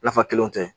Nafa kelenw tɛ